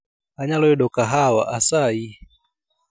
Anyalo yudo kahawa asayi